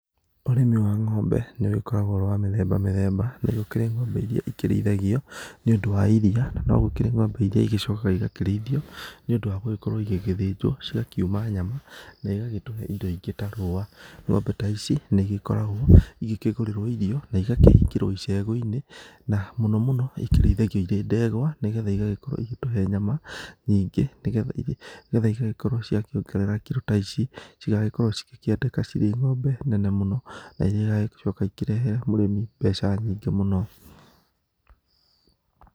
Ũrĩmi wa ng'ombe nĩ ũgĩkoragwo ũrĩ wa mĩthemba mĩthemba, nĩ gũkĩrĩ ng'ombe irĩa ikĩrĩithagio, nĩũndũ wa iria, na no gũkĩrĩ ng'ombe irĩa igĩcokaga igakĩrĩithio nĩũndũ wa gũgĩkorwo igĩthĩnjwo, cigakĩuma nyama na ĩgatũhe indo ingĩ ta rũa. Ng'ombe ta ici nĩigĩkoragwo ikĩgũrĩrwo ta irio na ikahingĩrwo icegũ-inĩ. Na mũno mũno ikĩrĩithagio irĩ ndegwa, nĩgetha cigagĩkorwo cigĩtũhe nyama. Ningĩ cigagĩkorwo ciongerera kiro ta ici, cigagĩkorwo cikĩendeka cirĩ ng'ombe nene mũno na irĩa igagĩcoka cirehere mũrĩmi mbeca nyingĩ mũno.